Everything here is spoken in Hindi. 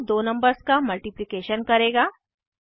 यह दो नंबर्स का मल्टिप्लिकेशन करेगा